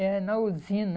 É, na usina.